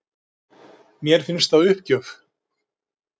Mér finnst það uppgjöf